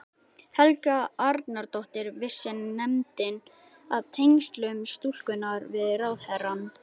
Helga Arnardóttir: Vissi nefndin af tengslum stúlkunnar við ráðherrann?